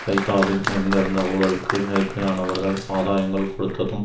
ஃபைத்தாவில் நிறைந்திருந்த ஊழலுக்கு நெருக்கியானவர்கள் ஆதாயங்கள் கொடுத்ததும்